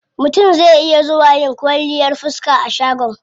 Mutum zai iya zuwa yin kwalliyar fiska a shagon.